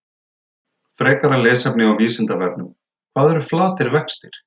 Frekara lesefni á Vísindavefnum: Hvað eru flatir vextir?